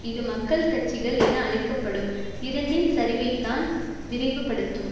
இது மக்கள் கட்சிகள் என அழைக்க படும் இரண்டின் சரிவைத்தான் விரைவுபடுத்தும்